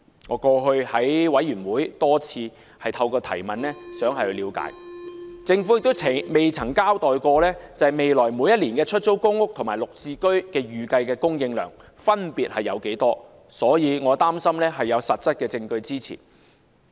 我過去在委員會多次希望透過提問，政府亦不曾交代未來每一年的出租公屋和綠置居的預計供應量分別為何，所以我的擔心是有實質證據支持的。